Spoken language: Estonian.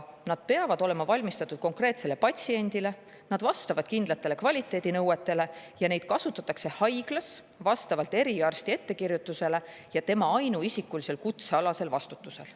Need peavad olema valmistatud konkreetsele patsiendile, vastama kindlatele kvaliteedinõuetele ja neid kasutatakse haiglas vastavalt eriarsti ettekirjutusele ja tema ainuisikulisel kutsealasel vastutusel.